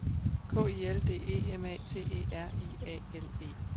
K I L D E M A T E R I A L E